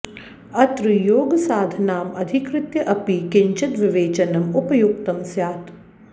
अत्र योगसाधनाम् अधिकृत्य अपि किंचित् विवेचनम् उपयुक्तं स्यात्